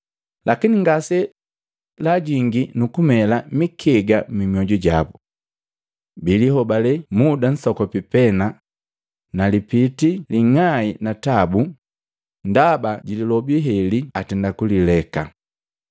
Lakini ngase laajingii nukumela mikega mmyoju jabo. Bilihobale muda msokopi pena, nalipitii linga'ai na tabu ndaba jililobi heli atenda kulileka.